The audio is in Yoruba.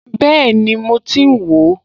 Bẹ́ẹ̀ni, mo ti ń wò ó